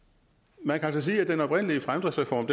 man kan altså sige at den oprindelige fremdriftsreform